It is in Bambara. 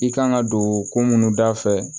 I kan ka don ko munnu dafɛ